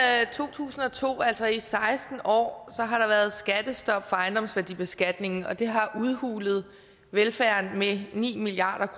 tusind og to altså i seksten år har der været skattestop for ejendomsværdibeskatningen og det har udhulet velfærden med ni milliard